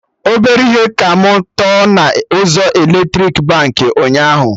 Ọbere ihe ka mụ tọ na ụzọ eletrik Baankị ụnyaahụ